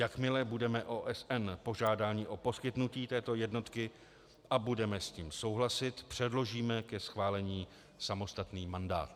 Jakmile budeme OSN požádáni o poskytnutí této jednotky a budeme s tím souhlasit, předložíme ke schválení samostatný mandát.